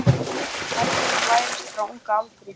Hegðun lærist frá unga aldri.